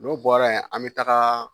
N'o bɔra yen an bɛ taga